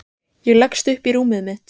Ég leggst upp í rúmið mitt.